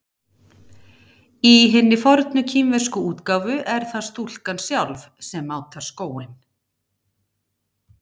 Í hinni fornu kínversku útgáfu er það stúlkan sjálf sem mátar skóinn.